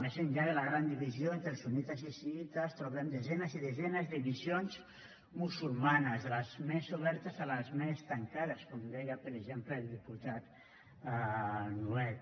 més enllà de la gran divisió entre sunnites i xiïtes trobem desenes i desenes de visions musulmanes de les més obertes a les més tancades com deia per exemple el diputat nuet